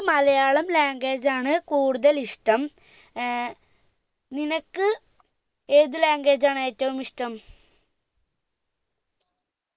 Malayalam language ആണ് കൂടുതൽ ഇഷ്ടം ഏർ നിനക്ക് ഏതാ language ആണ് ഏറ്റവും ഇഷ്ടം